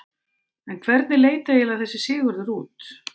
En hvernig leit eiginlega þessi Sigurður út?